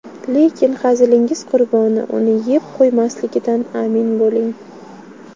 Lekin hazilingiz qurboni uni yeb qo‘ymasligidan amin bo‘ling.